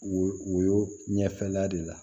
Wo wo ɲɛfɛla de la